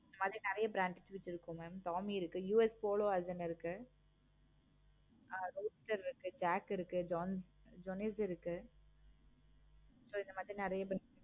அதுல நெறைய brands இருக்கு mam இருக்கு. US போல version இருக்கு. jack இருக்கு இந்த மாதிரி நெறைய இருக்கு.